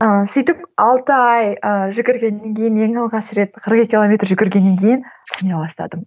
ыыы сөйтіп алты ай ыыы жүгіргеннен кейін ең алғаш рет қырық екі километр жүгіргеннен кейін түсіне бастадым